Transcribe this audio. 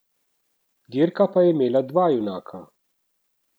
Dirka pa je imela dva junaka.